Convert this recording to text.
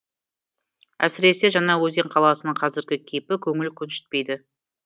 әсіресе жаңаөзен қаласының қазіргі кейпі көңіл көншітпейді